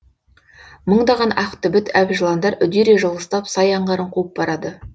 мыңдаған ақ түбіт әбжыландар үдере жылыстап сай аңғарын қуып барады